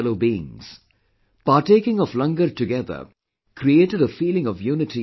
Partaking of LANGAR together created a feeling of unity & oneness in people